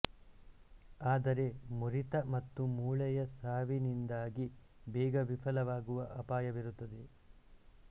ಆದರೆ ಮುರಿತ ಮತ್ತು ಮೂಳೆಯ ಸಾವಿನಿಂದಾಗಿ ಬೇಗ ವಿಫಲವಾಗುವ ಅಪಾಯವಿರುತ್ತದೆ